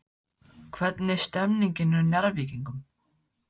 Hvernig er stemningin hjá Njarðvíkingum?